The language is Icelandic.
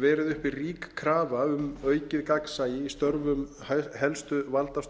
verið uppi ríki krafa um aukið gagnsæi í störfum helstu valdastofnana